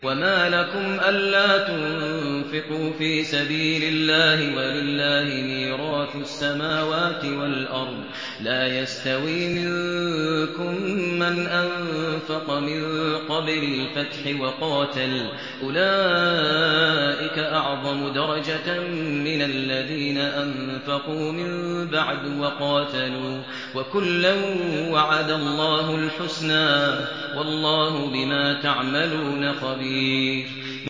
وَمَا لَكُمْ أَلَّا تُنفِقُوا فِي سَبِيلِ اللَّهِ وَلِلَّهِ مِيرَاثُ السَّمَاوَاتِ وَالْأَرْضِ ۚ لَا يَسْتَوِي مِنكُم مَّنْ أَنفَقَ مِن قَبْلِ الْفَتْحِ وَقَاتَلَ ۚ أُولَٰئِكَ أَعْظَمُ دَرَجَةً مِّنَ الَّذِينَ أَنفَقُوا مِن بَعْدُ وَقَاتَلُوا ۚ وَكُلًّا وَعَدَ اللَّهُ الْحُسْنَىٰ ۚ وَاللَّهُ بِمَا تَعْمَلُونَ خَبِيرٌ